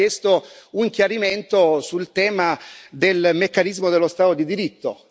Cioè Lei ha chiesto un chiarimento sul tema del meccanismo dello Stato di diritto.